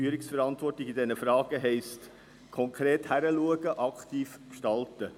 Führungsverantwortung in diesen Fragen heisst, konkret hinzuschauen und aktiv zu gestalten.